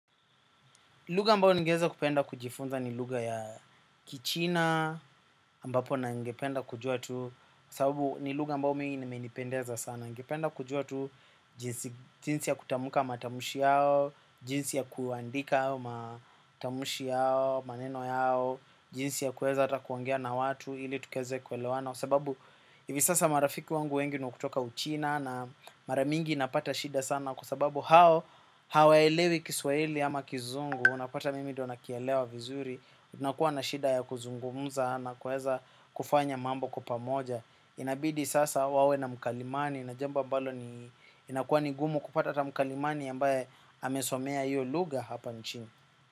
Lugha ambayo ningeeza kupenda kujifunza ni lugha ya kichina ambapo ningependa kujua tu sababu ni lugha ambao mi imenipendeza sana. Ningependa kujua tu jinsi ya kutamuka matamshi yao. Jinsi ya kuandika matamshi yao maneno yao jinsi ya kuweza hata kuongea na watu ili tukeze kuelewana. Sababu hivi sasa marafiki wangu wengi ni wa kutoka uchina. Na mara mingi napata shida sana. Kwa sababu hao hawaelewi kiswaili ama kizungu. Unapata mimi ndo nakielewa vizuri. Unakuwa na shida ya kuzungumuza na kuweza kufanya mambo kwa pamoja. Inabidi sasa wawe na mkalimani na jambo ambalo ni inakuwa ni gumu kupata hata mkalimani ambaye amesomea iyo lugha hapa nchini.